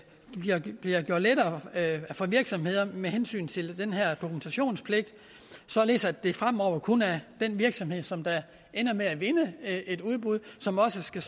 det bliver gjort lettere for virksomheder med hensyn til den her dokumentationspligt således at det fremover kun er den virksomhed som ender med at vinde et udbud som også skal